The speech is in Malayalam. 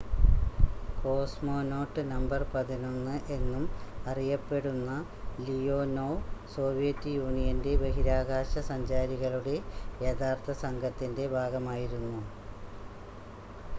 """കോസ്മോനോട്ട് നമ്പർ 11" എന്നും അറിയപ്പെടുന്ന ലിയോനോവ് സോവിയറ്റ് യൂണിയന്റെ ബഹിരാകാശ സഞ്ചാരികളുടെ യഥാർത്ഥ സംഘത്തിന്റെ ഭാഗമായിരുന്നു.